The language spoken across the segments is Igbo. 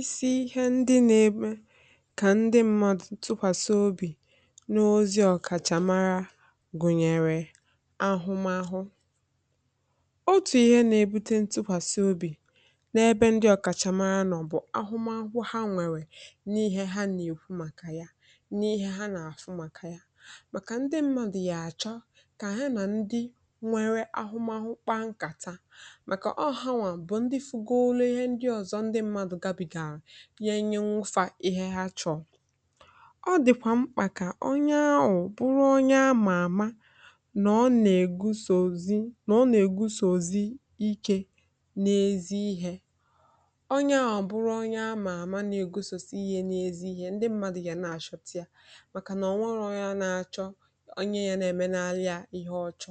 isi ihe ndị nȧ-ebe kà ndị mmadụ ntụkwàsị obì n’ozi ndị ọ̀kàchàmara gụ̀nyèrè ahụmȧhụ̇. otù ihe nà-ebute ntụkwàsị obì n’ebe ndị ọ̀kàchàmara nọ̀ bụ̀ ahụmahụ ha nwèrè n’ihe ha nà-èkwu màkà ya, n’ihe ha nà-àfụ màkà ya, màkà ndị mmadụ̀ yà-àchọ kà ha nà ndị nwėrè ahụmahụ kpa nkà taa màkà ọ, ha nwà ihe, nye nye, mụfà ihe ha chọ̀ọ̀. ọ dị̀kwà mkpà kà onye ahụ̀ bụrụ onye amà-àma nà ọ nà-ègusozi, nà ọ nà-ègusozi ike n’ezi ihė. onye ahụ̀ bụrụ onye amà-àma nà-ègusozi ihe nà ezi ihė, um ndị mmadụ̀ yà na-achọpụ̀ta yà màkà nà ọ nwọrọ onye ahụ̀ na-achọ onye yà na-eme n’alụ yà, ihe ọchọ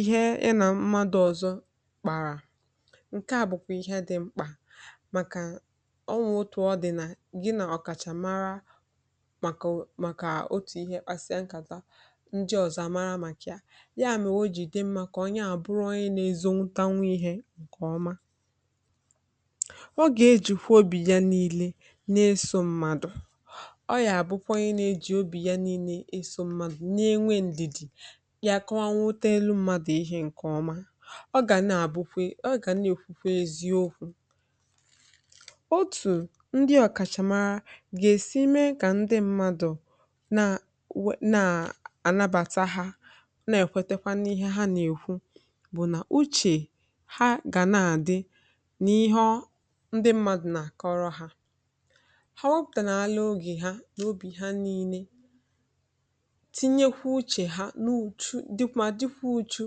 ihe ị nà mmadụ̇ ọ̀zọ kpàrà. ǹke à bụ̀kwà ihe dị̇ mkpà màkà ọ nwà òtù. ọ dị̀ nà gị nà ọ̀kàchà mara màkà otù ihe pasịa nkàtà ndị ọ̀zọ àmara màkà ya, màkà o jì dị mmȧ kà ọ ya àbụrụ ọyị nà ezȧwụta nwa ihė. ǹkè ọma ọ gà ejùkwu obì ya nii̇lė n’eso m̀madụ̀. ọ yà bụkwa ihe nà ejì obì ya nii̇lė isȯ mmadụ̀ ya, kà nwanwu tẹ̀lụ mmadù ihė ǹkè ọma ọ gà nà-àbukwe, ọ gà nà-èkwukwe eziokwu̇. otù ndị ọ̀kàchàmara gà-èsi mee kà ndị mmadù na nà-ànabàta ha, nà-èkwetekwa n’ihe ha nà-èkwu, bụ̀ nà uchè ha gà na-àdị nà ihe ndị mmadù nà-àkọrọ ha. ha wẹpụ̀tà nà ala ogè ha, n’obì ha nii̇lė, dịkwa uju̇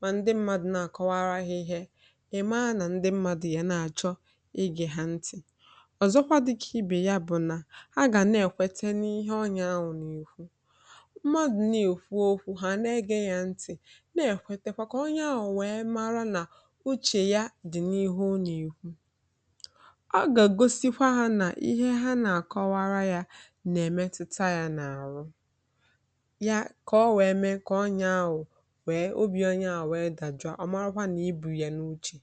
mà ndị mmadụ̀ na-àkọwara ihe. èmaa nà ndị mmadụ̀ yà na-àchọ igè ha ntì, ọ̀zọkwa dịkà ibè yà bụ̀ nà a gà na-èkwete n’ihe ọnyà a wụ̀ n’ìkwu, mmadụ̀ na-èkwò okwu̇, ha na-egė ya ntì, na-èkwete kà onye a wụ̀ wee mara nà uchè ya dị̀ n’ihu ụnọ̀ èkwu. a gà-egosikwa ha nà ihe ha nà-àkọwara yȧ nà-èmetuta yȧ n’àrụ obì onye à, um nweè dajụ̀ ọmàokwà nà i bu̇ ya n’uchè.